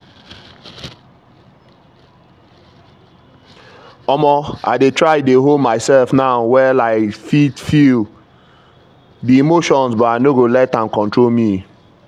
omo i dey try dey hold myself now well i fit feel the emotion but i no go let am control me.